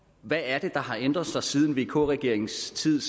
hvad er det der har ændret sig siden vk regeringens tid